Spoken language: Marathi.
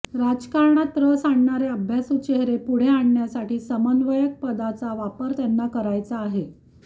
राजकारणात रस असणारे अभ्यासू चेहरे पुढे आणण्यासाठी समन्वयक पदाचा वापर त्यांना करायचा आहे